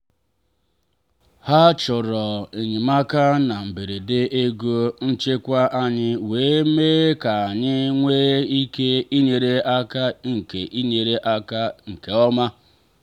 ha chọrọ enyemaka na mberede ego nchekwa anyị wee mee ka anyị nwee ike inyere aka nke inyere aka nke ọma.